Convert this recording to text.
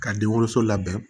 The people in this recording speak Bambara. Ka denwoloso labɛn